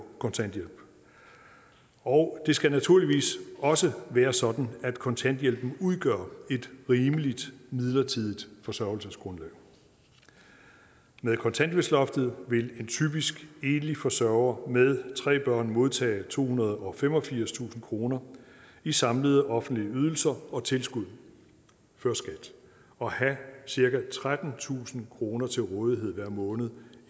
kontanthjælp og det skal naturligvis også være sådan at kontanthjælpen udgør et rimeligt midlertidigt forsørgelsesgrundlag med kontanthjælpsloftet vil en typisk enlig forsørger med tre børn modtage tohundrede og femogfirstusind kroner i samlede offentlige ydelser og tilskud før skat og have cirka trettentusind kroner til rådighed hver måned